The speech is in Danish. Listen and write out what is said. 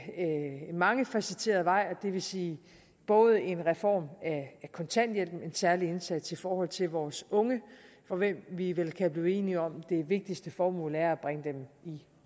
en mangefacetteret vej og det vil sige både en reform af kontanthjælpen og en særlig indsats i forhold til vores unge om hvem vi vel kan blive enige om at det vigtigste formål er at bringe dem i